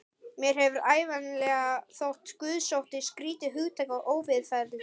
Mér hefur ævinlega þótt guðsótti skrýtið hugtak og óviðfelldið.